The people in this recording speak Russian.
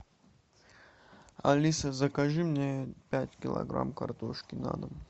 алиса закажи мне пять килограмм картошки на дом